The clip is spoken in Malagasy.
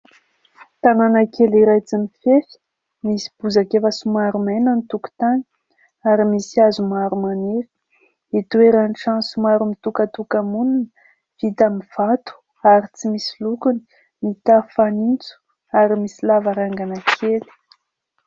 Tanàna kely iray tsy mifefy, misy bozaka efa somary maina ny tokontany, ary misy hazo maro maniry, itoeran'ny trano somary mitokatoka-monina, vita amin'ny vato ary tsy misy lokony. Mitafo fanitso, ary misy lavarangana kely.